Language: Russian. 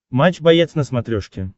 матч боец на смотрешке